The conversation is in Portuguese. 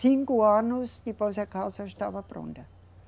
Cinco anos e depois a casa estava pronta.